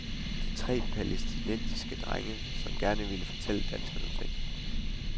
De er tre palæstinensiske drenge, som gerne vil fortælle danskerne nogle ting.